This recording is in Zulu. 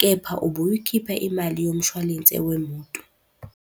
Kepha ubuyikhipha imali yomshwalense wemoto.